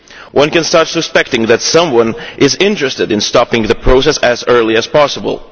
One could start suspecting that someone is interested in stopping the process as early as possible.